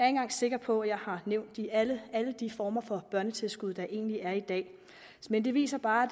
engang sikker på at jeg har nævnt alle de former for børnetilskud der egentlig er i dag men det viser bare